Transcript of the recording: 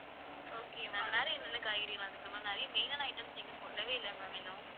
okay ma'am வேற என்னென்ன காய்கறியலாம் இருக்கு ma'am நிறைய main ஆன items நீங்க சொல்லவே இல்ல ma'am இன்னும்.